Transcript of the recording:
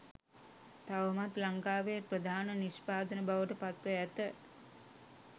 තවමත් ලංකාවේ ප්‍රධාන නිෂ්පාදන බවට පත්ව ඇත